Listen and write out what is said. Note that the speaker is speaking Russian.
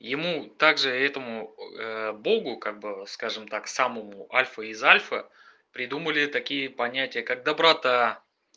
ему также этому богу как бы скажем так самому альфа из альфа придумали такие понятия как доброта